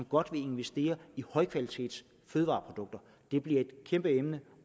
godt vil investere i højkvalitetsfødevareprodukter det bliver et kæmpe emne